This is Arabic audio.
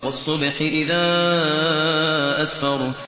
وَالصُّبْحِ إِذَا أَسْفَرَ